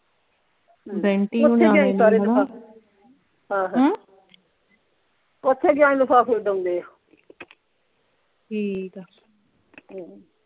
ਬੈਂਟੀ ਹੁਣੀ ਹਾਂ ਹਾਂ ਹਮ ਓਥੇ ਗਿਆਂ ਹੀ ਲਿਫਾਫੇ ਉਡਾਉਂਦੇ ਆ ਠੀਕ ਆ ਹਮ